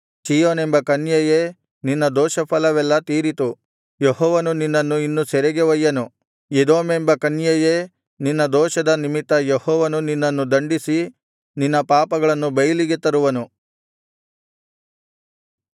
ಚೀಯೋನೆಂಬ ಕನ್ಯೆಯೇ ನಿನ್ನ ದೋಷಫಲವೆಲ್ಲಾ ತೀರಿತು ಯೆಹೋವನು ನಿನ್ನನ್ನು ಇನ್ನು ಸೆರೆಗೆ ಒಯ್ಯನು ಎದೋಮೆಂಬ ಕನ್ಯೆಯೇ ನಿನ್ನ ದೋಷದ ನಿಮಿತ್ತ ಯೆಹೋವನು ನಿನ್ನನ್ನು ದಂಡಿಸಿ ನಿನ್ನ ಪಾಪಗಳನ್ನು ಬೈಲಿಗೆ ತರುವನು